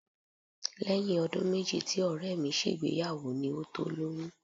Lẹ́yìn ọdún méjì tí Ọ̀rẹ́ mi ṣègbéyàwó ni ó tó lóyún